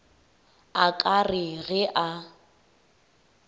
a ka re ge a